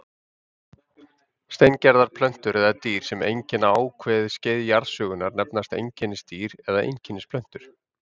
Steingerðar plöntur eða dýr, sem einkenna ákveðið skeið jarðsögunnar, nefnast einkennisdýr eða einkennisplöntur.